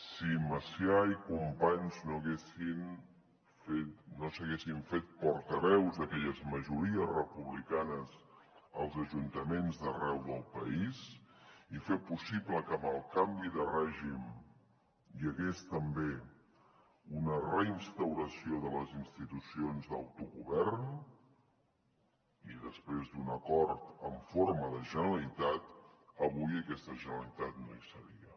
si macià i companys no s’haguessin fet portaveus d’aquelles majories republicanes als ajuntaments d’arreu del país i fer possible que amb el canvi de règim hi hagués també una reinstauració de les institucions d’autogovern i després d’un acord en forma de generalitat avui aquesta generalitat no hi seria